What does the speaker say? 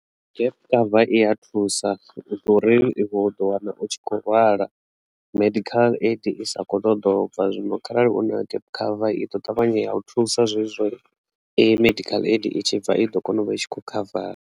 Gap cover iya thusa u ḓo uri i kho ḓo wana u tshi kho lwala medical aid i sa kho ṱoḓa u bva zwino kharali una gap cover i ḓo ṱavhanya ya u thusa zwezwo medical aid i tshi bva i ḓo kona u vha tshi kho khavara.